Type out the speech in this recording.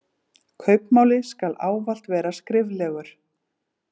Kaupmáli skal ávallt vera skriflegur.